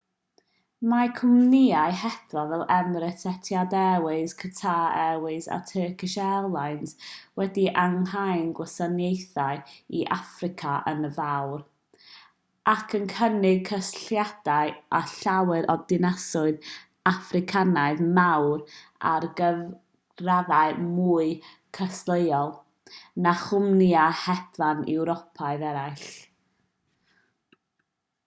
mae cwmnïau hedfan fel emirates etihad airways qatar airways a turkish airlines wedi ehangu'u gwasanaethau i affrica yn fawr ac yn cynnig cysylltiadau â llawer o ddinasoedd affricanaidd mawr ar gyfraddau mwy cystadleuol na chwmnïau hedfan ewropeaidd eraill